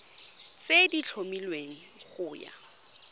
tse di tlhomilweng go ya